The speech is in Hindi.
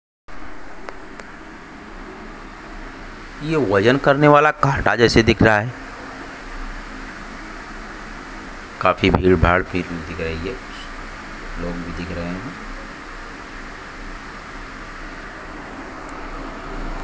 यह वजन करने वाला काटा जैसे दिख रहा है काफी भीड़ भाड़ रही है लोग भी दिख रहे हैं।